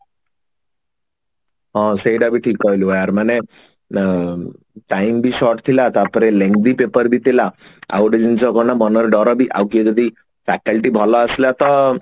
ହଁ ସେଇଟା ବି ଠିକ କହିଲୁ ୟାର ମାନେ ଅ time ବି short ଥିଲା ତାପରେ Lengthy paper ବି ଥିଲା ଆଉ ଗୋଟେ ଜିନିଷ କଣ ମନରେ ଡର ବି ଆଉ କିଏ ଯଦି faculty ଭଲ ଆସିଲା ତ